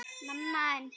En næst það?